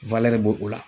b'o o la